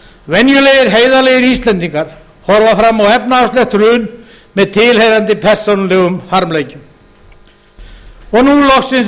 venjulegir heiðarlegir íslendingar horfa fram á efnahagslegt hrun með tilheyrandi persónulegum harmleikjum og nú loksins